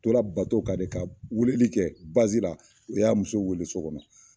U tora kan de, ka weeleli kɛ u y'a muso weele so kɔnɔ